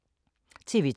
TV 2